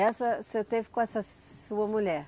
Essa o senhor teve com essa sua mulher?